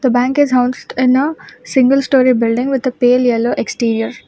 The bank is in a single story building with the pale yellow exterior.